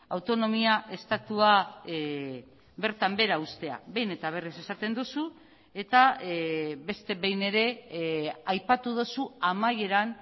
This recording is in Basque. autonomia estatua bertan behera ustea behin eta berriz esaten duzu eta beste behin ere aipatu duzu amaieran